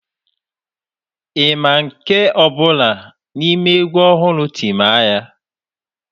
Ị ma nke ọ bụla n'ime egwu ọhụrụ Timaya?